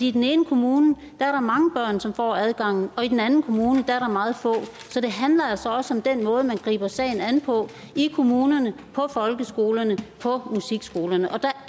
i den ene kommune er mange børn som får adgangen og i den anden kommune er der meget få så det handler altså også om den måde man griber sagen an på i kommunerne på folkeskolerne og på musikskolerne og der